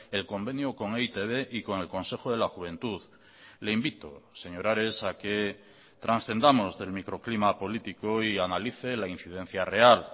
el convenio con e i te be y con el consejo de la juventud le invito señor ares a que trascendamos del microclima político y analice la incidencia real